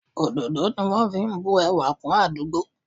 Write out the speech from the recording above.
Òdòdó ni wọn fi ń bu ẹwà kún àdúgbò